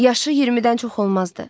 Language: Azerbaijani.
Yaşı 20-dən çox olmazdı.